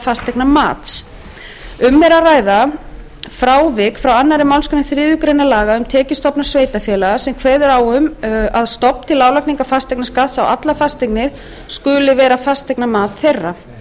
fasteignamats um er að ræða frávik frá annarri málsgrein þriðju grein laga um tekjustofna sveitarfélaga sem kveður á um að stofn til álagningar fasteignaskatts á allar fasteignir skuli vera fasteignamat þeirra